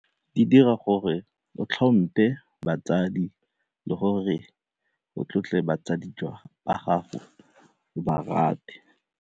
Di dira gore o tlhomphe batsadi le gore o tlotle batsadi ba gago o ba rate.